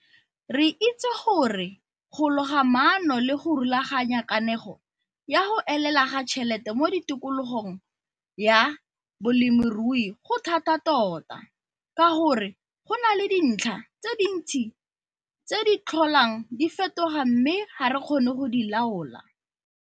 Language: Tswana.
Re itse gore go loga maano le go rulaganya kanego ya go elela ga tšhelete mo tikologong ya bolemirui go thata tota ka gore go na le dintlha tse dintsi tse di tlholang di fetoga mme ga re kgone go di laola.